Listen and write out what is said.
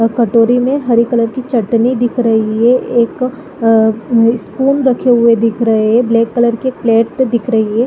और कटोरी मे हरे कलर की चटनी दिख रही है एक अ स्पून रखे हुए दिख रहे है ब्लैक कलर की एक प्लेट दिख रही है।